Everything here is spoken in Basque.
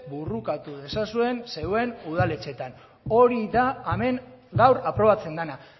borrokatu dezazuen zeuen udaletxetan hori da hemen gaur aprobatzen dena